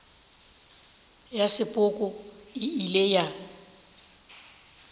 ya sepoko e ile ya